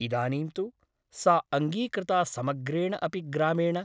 इदानीं तु सा अङ्गीकृता समग्रेण अपि ग्रामेण ।